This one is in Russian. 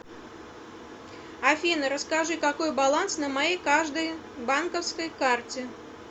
афина расскажи какой баланс на моей каждой банковской карте